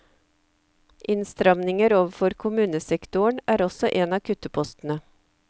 Innstramninger overfor kommunesektoren er også en av kuttepostene.